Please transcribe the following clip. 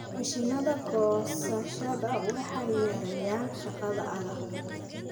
Mashiinnada goosashada waxay yareeyaan shaqada adag.